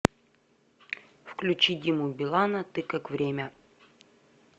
включи диму билана ты как время